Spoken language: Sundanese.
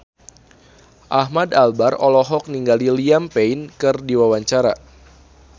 Ahmad Albar olohok ningali Liam Payne keur diwawancara